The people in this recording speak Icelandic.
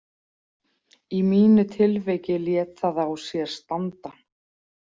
Í mínu tilviki lét það á sér standa.